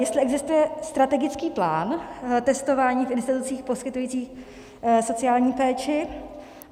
Jestli existuje strategický plán testování v institucích poskytující sociální péči.